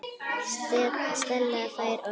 Stella fær orðið.